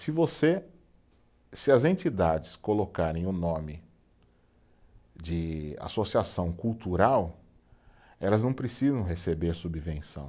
Se você, se as entidades colocarem o nome de associação cultural, elas não precisam receber a subvenção.